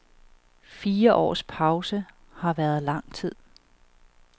Fire års pause har været lang tid.